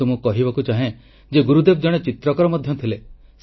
କିନ୍ତୁ ମୁଁ କହିବାକୁ ଚାହେଁ ଯେ ଗୁରୁଦେବ ଜଣେ ଚିତ୍ରକର ମଧ୍ୟ ଥିଲେ